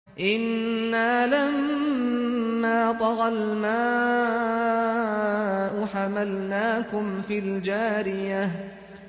إِنَّا لَمَّا طَغَى الْمَاءُ حَمَلْنَاكُمْ فِي الْجَارِيَةِ